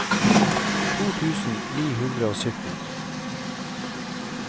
to tusen ni hundre og sytten